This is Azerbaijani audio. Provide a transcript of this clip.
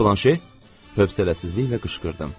Hövsələsizliklə qışqırdım.